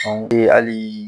halii